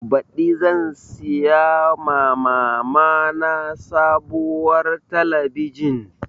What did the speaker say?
Baɗi zan siya ma mama na sabuwar talabijin